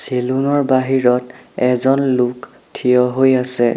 চেলুনৰ বাহিৰত এজন লোক থিয় হৈ আছে।